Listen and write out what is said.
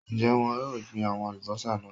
Ń jẹ́ wọn yìí ó gbin àwọn Alubọ́sá náà